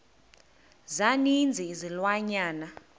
za ninzi izilwanyana